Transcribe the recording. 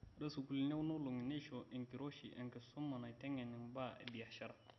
Ore sukuulini kuna olongi neisho enkiroshi enkisuma naiteng'en imbaa e biashara